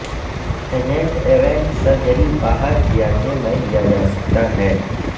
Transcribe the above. agent event surgery باہر کیا کہ میں لیا جا سکتا ہے